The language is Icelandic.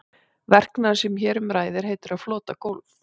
Verknaðurinn sem hér um ræður heitir að flota gólf.